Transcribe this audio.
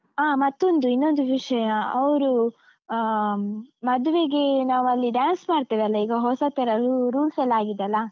ಆ ಮತ್ತೊಂದು ಇನ್ನೊಂದು ವಿಷಯ ಅವ್ರು ಆಹ್ ಮದ್ವೆಗೆ ನಾವ್ ಅಲ್ಲಿ dance ಮಾಡ್ತೇವಲ್ಲ, ಈಗ ಹೊಸತೆಲ್ಲ rules ಎಲ್ಲ ಆಗಿದೆಲ್ಲ?